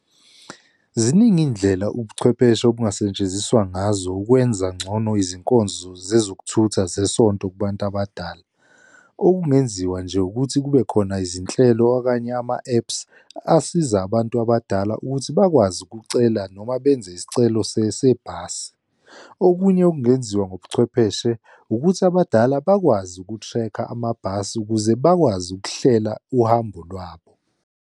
Ziningi iy'ndlela ubuchwepheshe obungasetshenziswa ngazo ukwenza ngcono izinkonzo zezokuthutha zesonto kubantu abadala. Okungenziwa nje ukuthi kube khona izinhlelo okanye ama-apps asiza abantu abadala ukuthi bakwazi ukucela noma benze isicelo sebhasi. Okunye okungenziwa ngobuchwepheshe ukuthi abadala bakwazi ukuthrekha amabhasi ukuze bakwazi ukuhlela uhambo lwabo.